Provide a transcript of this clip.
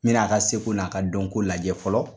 N n'a ka seko n'a ka dɔnko lajɛ fɔlɔ